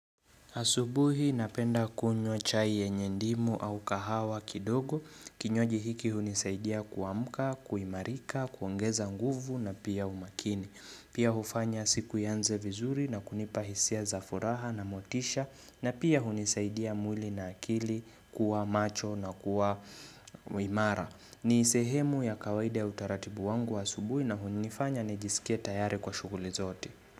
Asubuhi napenda kunywa chai yenye ndimu au kahawa kidogo. Kinywaji hiki hunisaidia kuamka, kuimarika, kuongeza nguvu na pia umakini. Pia hufanya siku ianze vizuri na kunipa hisia za furaha na motisha na pia hunisaidia mwili na akili kuwa macho na kuwa imara. Ni sehemu ya kawaida ya utaratibu wangu wa asubuhi na hunifanya nijisikie tayari kwa shughuli zote.